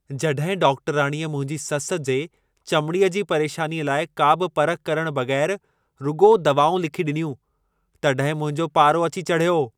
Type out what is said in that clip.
जॾहिं डॉक्टराणीअ मुंहिंजी सस जे चमड़ीअ जी परेशानीअ लाइ, का बि परख करण बग़ैरु रुॻो दवाऊं लिखी ॾिनियूं, तॾहिं मुंहिंजो पारो अची चढियो।